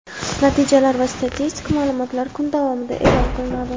Natijalar va statistik ma’lumotlar kun davomida e’lon qilinadi!.